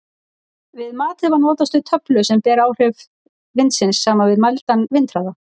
Við matið var notast við töflu sem ber áhrif vindsins saman við mældan vindhraða.